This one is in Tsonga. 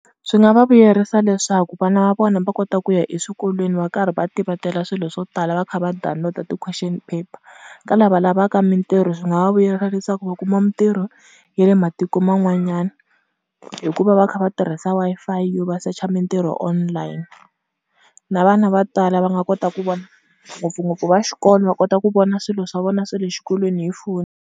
Swi nga va vuyerisa leswaku vana va vona va kota ku ya eswikolweni va karhi va tivatela swilo swo tala va kha va download-a ti-question paper. Ka lava lavaka mintirho swi nga va vuyerisa leswaku va kuma mintirho ya le matiko man'wanyana, hikuva va kha va tirhisa Wi-Fi yo va secha mintirho online. Na vana va tala va nga kota ku vona ngopfungopfu va xikolo va kota ku vona swilo swa vona swa le xikolweni hi foni.